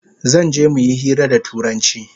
Zanje muyi hira da turanchi